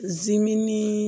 Zimini